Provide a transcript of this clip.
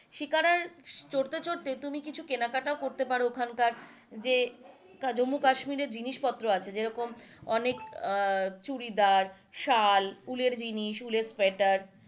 শিকারা চড়তে চড়তে তুমি কিছু কেনাকাটাও করতে পারো ওখানকার যে জম্মু কাশ্মীরে জিনিস পত্র আছে যেরকম অনেক চুরিদার, শাল উলের জিনিস, উলের সোয়েটার,